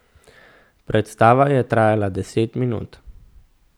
Predstava je trajala deset minut.